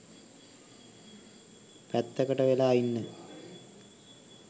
පැත්තකට වෙලා ඉන්න.